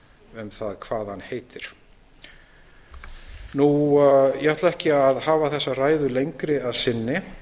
um það hvað hann heitir ég ætla ekki að hafa þessa ræðu lengri að sinni